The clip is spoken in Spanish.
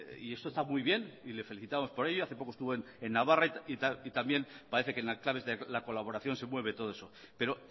y esto está muy bien y le felicitamos por ello hace poco estuvo en navarra y también parece que las claves de colaboración se mueve todo eso pero